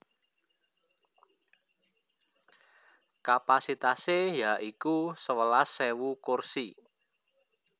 Kapasitasé ya iku sewelas ewu kursi